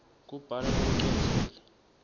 kubhala lokucondzile